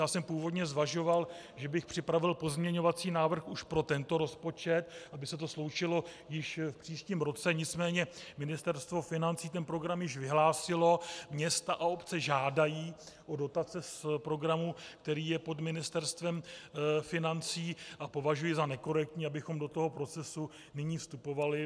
Já jsem původně zvažoval, že bych připravil pozměňovací návrh už pro tento rozpočet, aby se to sloučilo již v příštím roce, nicméně Ministerstvo financí ten program již vyhlásilo, města a obce žádají o dotace z programu, který je pod Ministerstvem financí, a považuji za nekorektní, abychom do toho procesu nyní vystupovali.